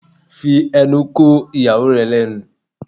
Fi ẹnu ko ìyàwó rẹ lẹ́nu!